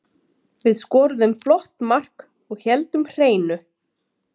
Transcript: Við skoruðum flott mark og héldum hreinu.